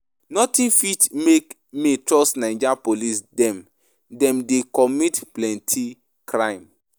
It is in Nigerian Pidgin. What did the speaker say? Notin fit make me trust Naija police dem, dem dey commit plenty crime.